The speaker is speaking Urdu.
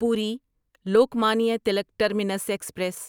پوری لوکمانیا تلک ٹرمینس ایکسپریس